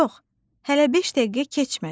“Yox, hələ beş dəqiqə keçmədi.”